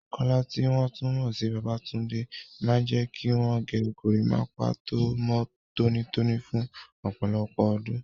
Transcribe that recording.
Kola, tí wọ́n tún mọ̀ sí Babatunde, máa ń jẹ́ kí wọ́n gé gorímápá tó mọ́ tónítóní fún ọ̀pọ̀lọpọ̀ ọdún.